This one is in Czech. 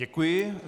Děkuji.